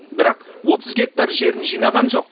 бірақ отыз гектар жерін жинаған жоқ